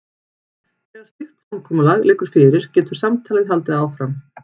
Þegar slíkt samkomulag liggur fyrir getur samtalið haldið áfram.